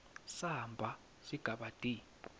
samba sigaba d